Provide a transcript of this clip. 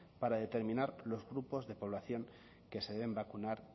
para determinar los grupos de población que se deben vacunar